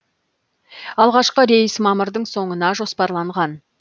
алғашқы рейс мамырдың соңына жоспарланған